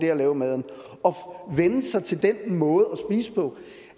at lave maden og vænne sig til den måde